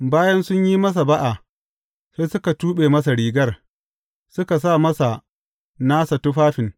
Bayan sun yi masa ba’a, sai suka tuɓe masa rigar, suka sa masa nasa tufafin.